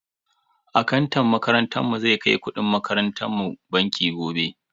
Akantan makarantar mu zai kai kudin makarantan mu banki gobe.